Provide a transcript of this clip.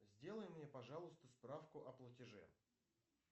сделай мне пожалуйста справку о платеже